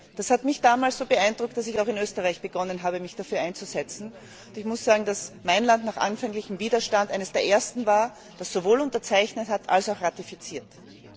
Das hat mich damals so beeindruckt, dass ich in Österreich begonnen habe, mich dafür einzusetzen, und ich muss sagen, dass mein Land nach anfänglichem Widerstand eines der ersten war, das sowohl unterzeichnet als auch ratifiziert hat.